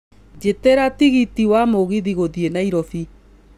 jĩtĩria tigiti wa mũgithi gũthiĩ nairobi